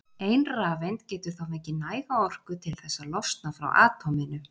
Ein rafeind getur þá fengið næga orku til þess að losna frá atóminu.